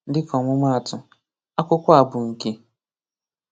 Dịka ọmụma atụ: Akwụkwọ a bụ nke.